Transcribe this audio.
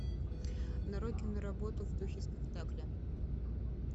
нарой киноработу в духе спектакля